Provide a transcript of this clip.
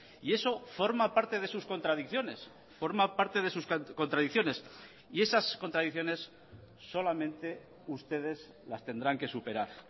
y eso forma parte de sus contradicciones forma parte de sus contradicciones y esas contradicciones solamente ustedes las tendrán que superar